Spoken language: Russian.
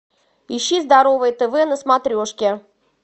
ищи здоровое тв на смотрешке